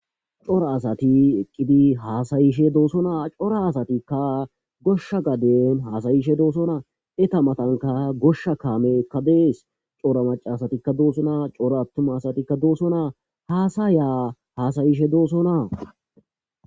Coora asati eqidi hasayishe do'sona coora asayika gosha gaden hasayishe do'sona eta matanika gosha kameyika de'es coora woxatetika do'sona coora atuma asatika do'sona hasaya hasayishe do'sona